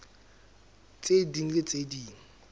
tse ding le tse ding